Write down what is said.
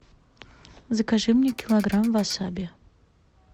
закажи мне килограмм васаби